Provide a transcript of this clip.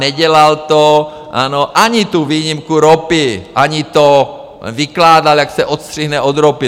Nedělal to, ano, ani tu výjimku ropy, ani to, vykládal, jak se odstřihne od ropy.